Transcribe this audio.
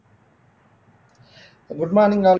good morning all